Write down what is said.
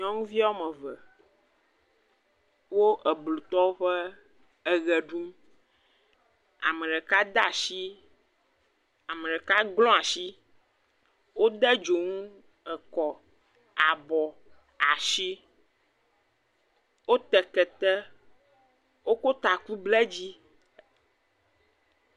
Nyɔŋuvi ɔme eve wo eblutɔwo ƒe eɣe ɖum, ameɖeka de ashi, ameɖeka glɔ̃ ashi, wo de dzoŋu ekɔ, abɔ, ashi, wo te kete, wo ko taku ble dzi.